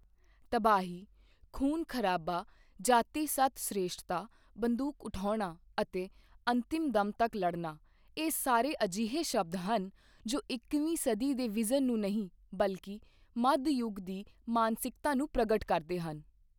ਤਬਾਹੀ, ਖੂਨ ਖਰਾਬਾ ਜਾਤੀ ਸਤ ਸ੍ਰੇਸ਼ਠਤਾ, ਬੰਦੂਕ ਉਠਾਉਣਾ ਅਤੇ ਅੰਤਿਮ ਦਮ ਤੱਕ ਲੜਨਾ ਇਹ ਸਾਰੇ ਅਜਿਹੇ ਸ਼ਬਦ ਹਨ, ਜੋ ਇੱਕੀਵੀਂ ਸਦੀ ਦੇ ਵਿਜ਼ਨ ਨੂੰ ਨਹੀਂ ਬਲਕਿ ਮੱਧ ਯੁਗ ਦੀ ਮਾਨਸਿਕਤਾ ਨੂੰ ਪ੍ਰਗਟ ਕਰਦੇ ਹਨ।